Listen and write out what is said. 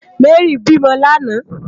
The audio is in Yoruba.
Mary bi mò làná